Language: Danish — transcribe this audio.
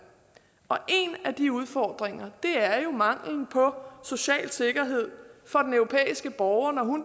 og en af de udfordringer er jo manglen på social sikkerhed for den europæiske borger når